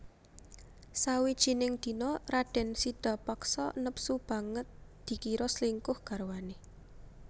Sawijining dina radèn Sidapaksa nepsu banget dikira slingkuh garwané